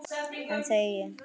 Enn þegi ég.